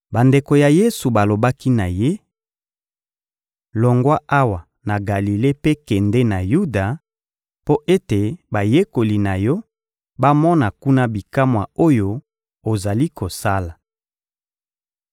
Bandeko ya Yesu balobaki na Ye: — Longwa awa na Galile mpe kende na Yuda, mpo ete bayekoli na Yo bamona kuna bikamwa oyo ozali kosala.